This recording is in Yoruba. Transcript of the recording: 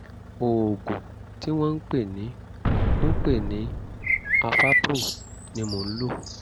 oògùn tí wọ́n ń pè ní ń pè ní avapro ni mò ń lò